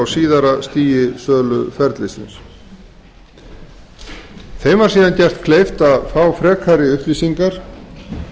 síðara stigi söluferlisins þeim var síðan gert kleift að fá frekari upplýsingar